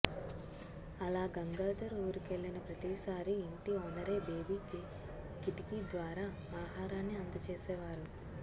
అలా గంగాధర్ ఊరికెళ్లిన ప్రతిసారి ఇంటి ఓనరే బేబికి కిటికి ద్వారా ఆహారాన్ని అందచేసేవారు